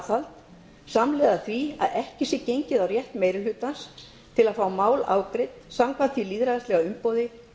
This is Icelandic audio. aðhald samhliða því að ekki sé gengið á rétt meiri hlutans til að fá mál afgreidd samkvæmt því lýðræðislega umboði